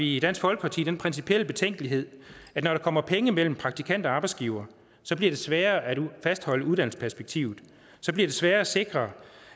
i dansk folkeparti den principielle betænkelighed at når der kommer penge mellem praktikant og arbejdsgiver bliver det sværere at fastholde uddannelsesperspektivet så bliver det sværere at sikre